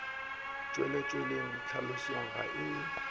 tšwele tseleng tlhalošo ga e